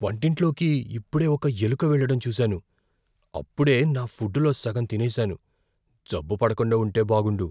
వంటింట్లోకి ఇప్పుడే ఒక ఎలుక వెళ్ళడం చూసాను. అప్పుడే నా ఫుడ్ లో సగం తినేసాను. జబ్బు పడకుండా ఉంటే బాగుండు.